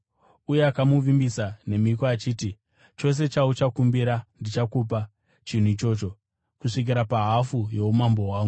Uye akamuvimbisa nemhiko achiti, “Chose chauchakumbira ndichakupa chinhu ichocho, kusvikira pahafu youmambo hwangu.”